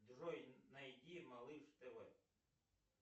джой найди малыш тв